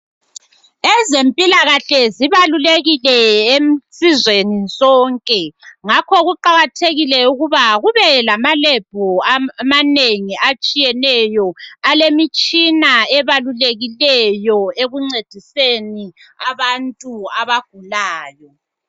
Ezempilakahle zibalulekile esizweni sonke ngakho kuqakathekile ukuba kube lamalebhu amanengi atshiyeneyo, alemitshina ebalulekileyo ekuncediseni abantu abagulayo.